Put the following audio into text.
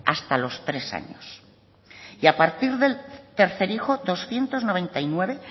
hasta los tres años y a partir del tercer hijo doscientos noventa y nueve